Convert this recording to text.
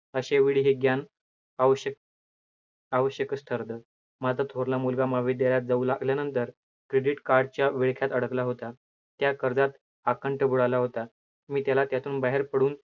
असे वेळी हे ज्ञान आवश्यक आवश्यकचं ठरतं. माझा थोरला मुलगा महाविद्यालयात जाऊ लागल्यानंतर credit card च्या विळख्यात अडकला होता, त्या कर्जात अखंड बुडाला होता. मी त्याला त्यातून बाहेर पडून